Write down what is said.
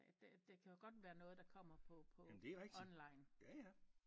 Det det kan jo godt være noget der kommer på på online